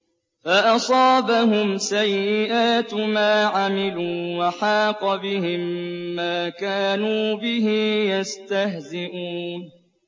فَأَصَابَهُمْ سَيِّئَاتُ مَا عَمِلُوا وَحَاقَ بِهِم مَّا كَانُوا بِهِ يَسْتَهْزِئُونَ